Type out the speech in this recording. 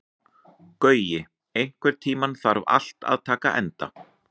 Gaui, einhvern tímann þarf allt að taka enda.